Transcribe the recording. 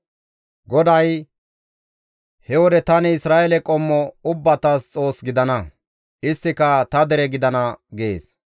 GODAY, «He wode tani Isra7eele qommo ubbatas Xoos gidana; isttika ta dere gidana» gees.